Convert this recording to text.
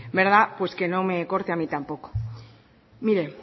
verdad pues que no me corte a mí tampoco mire